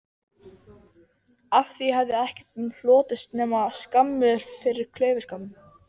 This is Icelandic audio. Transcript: Stjórnendur aflvéla og ökutækja er þeir hafa umráð yfir.